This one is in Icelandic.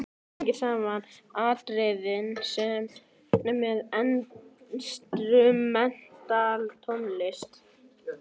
Tengir saman atriðin með instrumental tónlist.